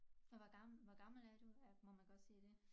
Og hvor gammel hvor gammel er du må man godt sige det